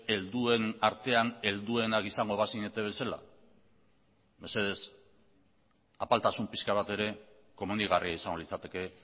helduen artean helduenak izango bazinete bezala mesedez apaltasun pixka bat ere komenigarria izango litzateke